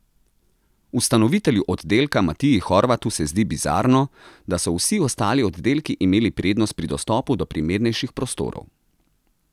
Ustanovitelju oddelka Matiji Horvatu se zdi bizarno, da so vsi ostali oddelki imeli prednost pri dostopu do primernejših prostorov.